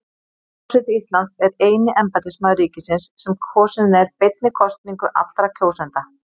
Forseti Íslands er eini embættismaður ríkisins sem kosinn er beinni kosningu allra kjósenda.